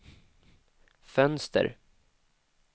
fönster